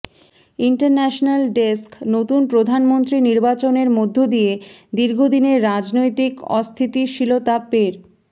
international desk নতুন প্রধানমন্ত্রী নির্বাচনের মধ্য দিয়ে দীর্ঘদিনের রাজনৈতিক অস্থিতিশীলতা পের